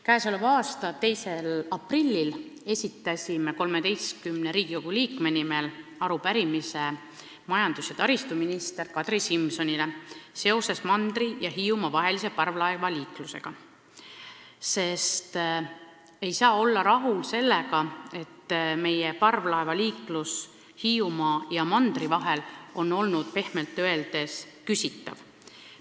Käesoleva aasta 2. aprillil esitasime 13 Riigikogu liikme nimel majandus- ja taristuminister Kadri Simsonile arupärimise mandri ja Hiiumaa vahelise parvlaevaliikluse kohta, sest me ei saa olla rahul sellega, et parvlaevaliiklus Hiiumaa ja mandri vahel on olnud pehmelt öeldes küsitav.